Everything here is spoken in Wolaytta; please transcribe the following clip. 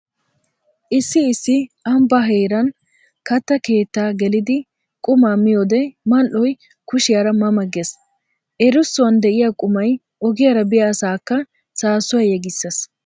Issi issi ambba heeran katta keetta geliddi quma miyoode mal'oy kushiyara ma ma gees! Erissuwan de'iya qumay ogiyara biya asaaka saassuwa yegissees.